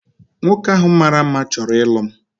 Nwoke ahu mara mma chọrọ ịlụ m